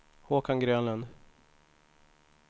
Håkan Grönlund